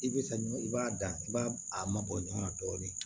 I bɛ ka ɲɔn i b'a dan i b'a a mabɔ ɲɔgɔnna dɔɔnin